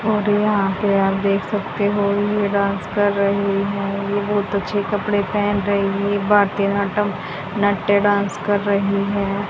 और यहां पे आप देख सकते हो ये डांस कर रही हैं ये बहुत अच्छे कपड़े पहन रही है भारतीय नाट्यम नाट्टे डांस कर रही हैं।